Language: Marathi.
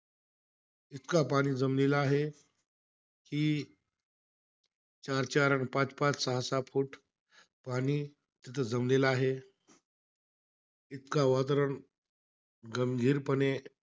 इतका पाणी जमलेला आहे कि चार-चार, पाच-पाच, सहा-सहा फूट पाणी तिथं जमलेला आहे. इतकं वातावरण गंभीरपणे,